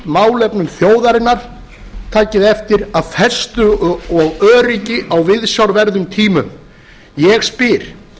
málefnum þjóðarinnar takið eftir af festu og öryggi á viðsjárverðum tímum ég spyr